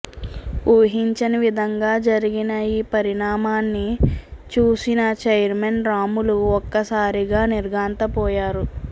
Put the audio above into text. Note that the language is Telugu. ఊహించని విధంగా జరిగిన ఈ పరిణామాన్ని చూసిన చైర్మన్ రాములు ఒక్కసారిగా నిర్ఘాంతపోయారు